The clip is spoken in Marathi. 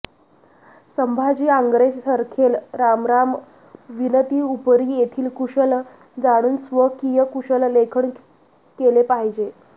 संभाजी आंगरे सरखेल रामराम विनति उपरि येथील कुशल जाणून स्वकीय कुशल लेखन केलें पाहिजे